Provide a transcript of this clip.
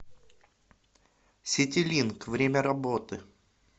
ситилинк время работы